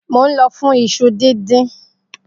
Mo nlọ fún iṣu dindin.